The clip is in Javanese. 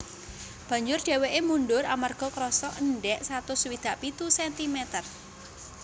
Banjur dhèwèké mundur amarga kerasa endhèk satus swidak pitu sentimeter